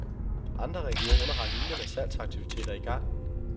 Andre regioner har lignende salgsaktiviteter i gang.